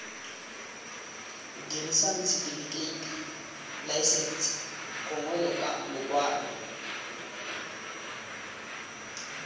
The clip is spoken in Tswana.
dirisang setifikeiti laesense gongwe lekwalo